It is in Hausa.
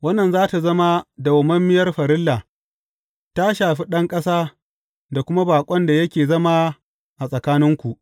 Wannan za tă zama dawwammamiyar farilla ta shafi ɗan ƙasa da kuma baƙon da yake zama a tsakaninku.